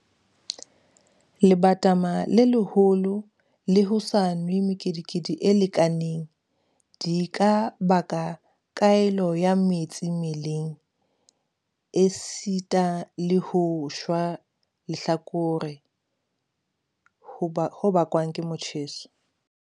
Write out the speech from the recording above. Lebatama le leholo le ho sa nwe mekedikedi e lekaneng, di ka baka kgaello ya metsi mmeleng esita le ho shwa lehlakore ho bakwang ke motjheso.